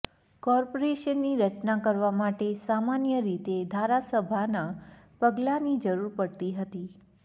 કોર્પોરેશનની રચના કરવા માટે સામાન્ય રીતે ધારાસભાના પગલાની જરૂર પડતી હતી